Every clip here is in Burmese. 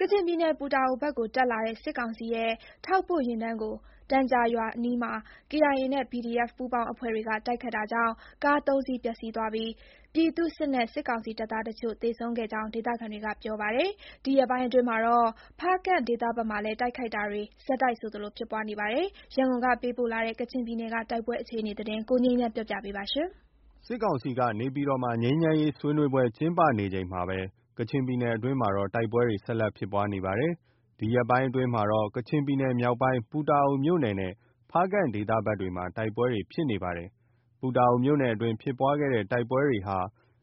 ကချင်ပြည်နယ် ပူတာအိုဘက်ကိုတက်လာတဲ့ စစ်ကောင်စီရဲ့ထောက်ပို့ယာဉ်တန်းကို တန်ဂျာရွာအနီးမှာ KIA နဲ့ PDF ပူးပေါင်းအဖွဲ့တွေက တိုက်ခိုက်တာကြောင့် ကား ၃ စီး ပျက်စီးပြီး ပြည်သူ့စစ်နဲ့ စစ်ကောင်စီတပ်သားအချို့ သေဆုံးခဲ့ကြောင်း ဒေသခံတွေက ပြောပါတယ်။ ဒီရက်ပိုင်းအတွင်းမှာတော့ ဖားကန့်ဒေသဘက်မှာလည်း တိုက်ခိုက်တာတွေ ဆက်တိုက်လို ဖြစ်ပွားနေပါတယ်။ ရန်ကုန်က ပေးပို့လာတဲ့ ကချင်ပြည်နယ်က တိုက်ပွဲအခြေအနေသတင်း ကိုငြိမ်းချမ်းက တင်ပြပေးထားပါတယ်။ စစ်ကောင်စီက နေပြည်တော်မှာ ငြိမ်းချမ်းရေးဆွေးနွေးပွဲကျင်းပနေချိန်မှာပဲ ကချင်ပြည်နယ်အတွင်းမှာတော့ တိုက်ပွဲတွေ ဆက်လက် ဖြစ်ပွားနေတာပါ။ ဒီရက်ပိုင်းတွေအတွင်းမှာတော့ ကချင်ပြည်နယ် မြောက်ပိုင်း ပူတာအိုမြို့နယ်နဲ့ ဖားကန့်ဒေသဘက်တွေမှာ တိုက်ပွဲတွေ ဖြစ်ပွားနေပါတယ်။ ပူတာအိုမြို့နယ်အတွင်းဖြစ်ပွားတဲ့တိုက်ပွဲဟာ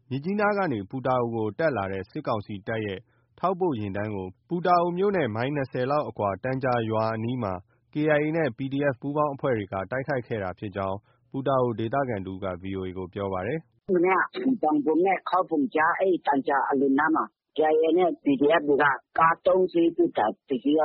မြစ်ကြီးနားကနေ ပူတာအိုဘက်ကို တက်လာတဲ့ စစ်ကောင်စီတပ်ရဲ့ ထောက်ပို့ယာဉ်တန်းကို ပူတာအိုမြို့နဲ့ မိုင် ၂၀လောက်အကွာ တန်ဂျာရွာအနီးမှာ KIA နဲ့ PDF ပူးပေါင်းအဖွဲ့တွေက တိုက်ခိုက်ခဲ့တာဖြစ်ကြောင်း ပူတာအို ဒေသခံတဦးက VOA ကို ပြောပါတယ်။ “ မနေ့က တန်ဘွမ်နဲ့ ခေါဘွမ်ကြား အဲဒီ တန်ဂျာရွာအလွန်နားမှာ KIA နဲ့ PDF တွေက တစီးကတော့ တပိုင်းတစနဲ့ ဘက်ဖိုးတင်တဲ့ ၁၀ ဘီး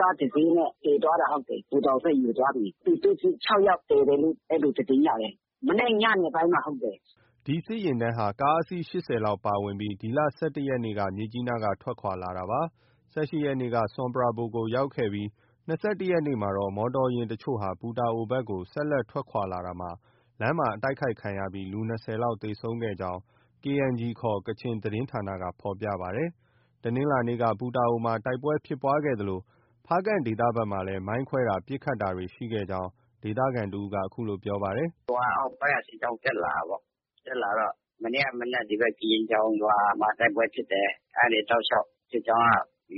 ကားတစီးနဲ့ တင်သွားတာ ဟုတ်တယ်။ ပူတာအိုဘက် ယူသွားပြီ။ ပြည်သူ့စစ် ၆ ယောက်သေတယ်လို့ အဲလို သတင်းရတယ်။ မနေ့ညနေပိုင်းမှာ ဟုတ်တယ်။” ဒီစစ်ယာဉ်တန်းဟာ ကားအစီး ၈၀ လောက်ပါဝင်ပြီး ဒီလ ၁၁ ရက်နေ့က မြစ်ကြီးနားက ထွက်ခွာ လာကြောင်း ၊ ၁၈ ရက်နေ့က ဆွမ်ပရာဘွမ်ကို ရောက်ရှိခဲ့ပြီး ၂၁ ရက်နေ့မှာ မော်တော်ယာဉ်အချို့ ပူတာအိုဘက် ဆက်လက် ထွက်ခွာလာရာမှာ တိုက်ခိုက်ခံရပြီး လူ ၂၀ လောက် ထိခိုက်သေဆုံးကြောင်း KNG ခေါ် ကချင်သတင်းဌာနက ဖော်ပြပါတယ်။ တနင်္လာနေ့က ပူတာအိုမှာ တိုက်ပွဲဖြစ်ပွဲသလို ဖားကန့်ဒေသဘက်မှာလည်း မိုင်းခွဲတာ၊ ပစ်ခတ်တာတွေ ရှိခဲ့ကြောင်း ဒေသခံတဦးက အခုလို ပြောပါတယ်။ “ အောက်ပိုင်းက စစ်ကြောင်း တက်လာတာပေ့ါ။ မနေ့က မနက် ဒီဘက် ကရင်ချောင်ရွာမှာ တိုက်ပွဲဖြစ်တယ်။ အဲဒီကနေ တောက်လျှောက် စစ်ကြောင်းက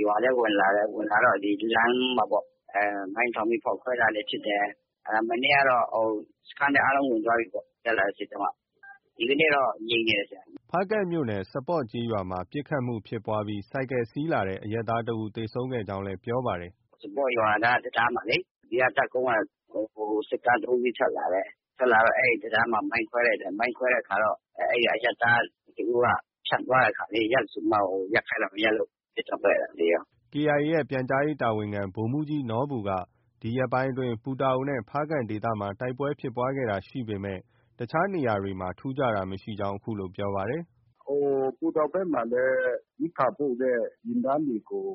ရွာထဲ ဝင်လာတယ်။ ဝင်လာတော့ လမ်းမှာပေါ့။ မိုင်းထောင်ပြီး ဖောက်ခွဲတာတွေဖြစ်တယ်။ မနေ့ကတော့ စခန်းထဲ အားလုံးဝင်သွားပြီပေါ့။ တက်လာတဲ့စစ်ကြောင်းတွေပေါ့။ ဒီနေ့တော့ ငြိမ်နေတယ်။” ဖားကန့်မြို့နယ် စပေါ့ရွာမှာ ပစ်ခတ်မှုဖြစ်ပွားပြီး ဆိုင်ကယ်စီးလာတဲ့ အရပ်သားတဦးသေဆုံးခဲ့ကြောင်းလည်း ပြောပါတယ်။ “ စပေါ့ရွာနားက တံတားမှာလေ ဒီက တပ်ကုန်းက စစ်ကား ၃ စီး ထွက်လာတယ်။ ထွက်လာတော့ အဲဒီတံတားမှာ မိုင်းခွဲလိုက်တယ်။ ခွဲတဲ့အခါတော့ အဲဒီမှာ အရပ်သားတဦးက ဖြတ်သွားတဲ့အခါ ရပ်ဆိုပြီးမှ ရပ်ခိုင်းတာ မရပ်လို့ ပစ်တာပဲ။ အဲဒါ သေရော။” KIA ရဲ့ ပြန်ကြားရေးတာဝန်ခံ ဗိုလ်မှူးကြီးနော်ဘူက ဒီရက်ပိုင်းအတွင်း ပူတာအိုနဲ့ ဖားကန့်ဒေသမှာ တိုက်ပွဲဖြစ်ပွားတာရှိပေမယ့် တခြားနေရာမှာတော့ ထူးခြားတာမရှိကြောင်း ပြောပါတယ်။ “ပူတာအိုဘက်မှာ ရိက္ခာပို့တဲ့ ယာဉ်တန်းတွေကို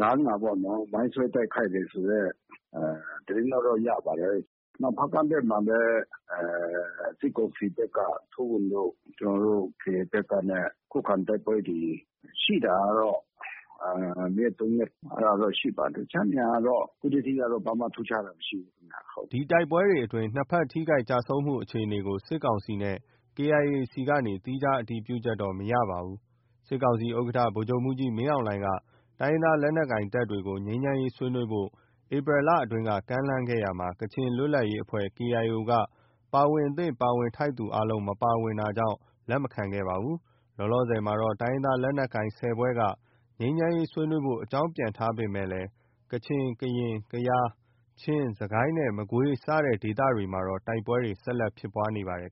လမ်းမှာပေါ့နော် မိုင်းဆွဲတိုက်ခိုက်တယ်ဆိုတဲ့ သတင်းလောက်တော့ ရပါတယ်။ နောက် ဖားကန့်ဘက်မှာလည်း စစ်ကောင်စီဘက်က ထိုးဝင်လို့ ကျနော်တို့ KIA ဘက်ကနဲ့ ခုခံတိုက်ပွဲတွေ ရှိတာကတော့ ၂ ရက်။ ၃ ရက်။ အဲဒါတော့ ရှိပါတယ်။ တခြားနေရာတော့ ခုထက်ထိ ဘာမှ ထူးခြားတာ မရှိဘူးခင်ဗျ။” ဒီတိုက်ပွဲတွေအတွင်း နှစ်ဘက် ထိခိုက်ကျဆုံးမှုအခြေအနေကို စစ်ကောင်စီနဲ့ KIA ဆီကနေ သီးခြား အတည်ပြုချက်တော့ မရရှိပါဘူး။ စစ်ကောင်စီ ဥက္ကဋ္ဌ ဗိုလ်ချုပ်မှူးကြီး မင်းအောင်လှိုင်က တိုင်းရင်းသားလက်နက်ကိုင်တပ်တွေကို ငြိမ်းချမ်းရေးဆွေးနွေးဖို့ ဧပြီလကအတွင်းက ကမ်းလှမ်းခဲ့ရာမှာ ကချင်လွတ်လပ်ရေးအဖွဲ့ KIO က ပါဝင်သင့် ပါဝင်ထိုက်သူအားလုံး မပါဝင်တာကြောင့် လက်မခံခဲ့ပါဘူး။ လောလောဆယ်မှာတော့ တိုင်းရင်းသားလက်နက်ကိုင် ၁၀ ဖွဲ့က ငြိမ်းချမ်းရေးဆွေးနွေးဖို့ အကြောင်း ပြန်ထားပေမယ့် ကချင်၊ ကရင်၊ ကယား၊ ချင်း၊ စစ်ကိုင်းနဲ့ မကွေး စတဲ့ဒေသတွေမှာတော့ တိုက်ပွဲတွေ ဆက်လက် ဖြစ်ပွားနေပါတယ်